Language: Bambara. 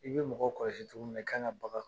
I be mɔgɔ kɔlɔsi cogo min na, i kan ka bagan